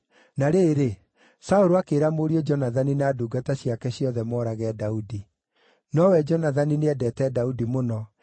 Na rĩrĩ, Saũlũ akĩĩra mũriũ Jonathani na ndungata ciake ciothe moorage Daudi. Nowe Jonathani nĩendeete Daudi mũno,